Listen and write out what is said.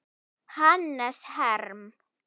Hannes Herm.